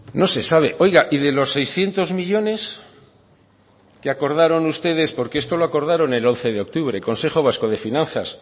no se sabe oiga y de los seiscientos millónes que acordaron ustedes porque esto lo acordaron el once de octubre consejo vasco de finanzas